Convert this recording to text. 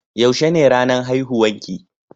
Yaushe ne ranan haihuwan ki?